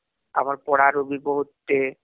ଆମର ପଡ଼ାରୁ ବି ବହୁତ ଟେ